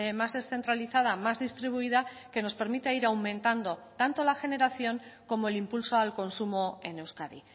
más descentralizada más distribuida que nos permita ir aumentando tanto la generación como el impulso al consumo en euskadi